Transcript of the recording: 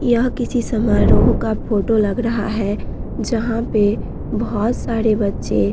यह किसी समारोह का फोटो लग रहा है जहाँ पे बहुत सारे बच्चे --